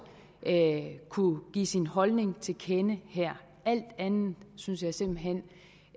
kunne give sin holdning til kende her alt andet synes jeg simpelt hen